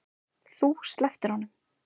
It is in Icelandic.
Þú slepptir honum.